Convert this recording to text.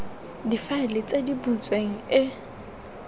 difaele tse di butsweng e